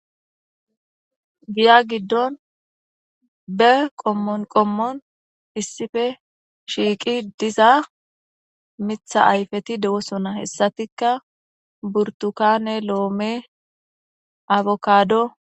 Giya giddon be qommon issife shiiqi diza mitha ayfeti dewo sona hessatikka burtukane loome afokado.